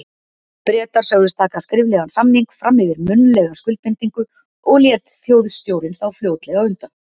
Bretar sögðust taka skriflegan samning fram yfir munnlega skuldbindingu, og lét Þjóðstjórnin þá fljótlega undan.